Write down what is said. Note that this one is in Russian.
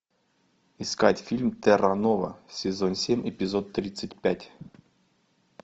искать фильм терра нова сезон семь эпизод тридцать пять